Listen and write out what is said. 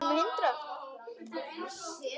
Það gerðir þú nú aldrei.